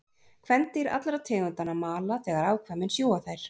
Kvendýr allra tegundanna mala þegar afkvæmin sjúga þær.